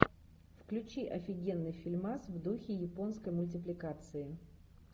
включи офигенный фильмас в духе японской мультипликации